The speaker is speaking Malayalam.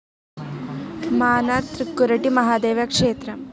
മാന്നാർ തൃക്കുരട്ടി മഹാദേവ ക്ഷേത്രം